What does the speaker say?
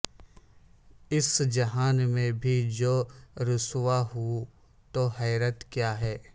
اس جہاں میں بھی جو رسوا ہوں تو حیرت کیا ہے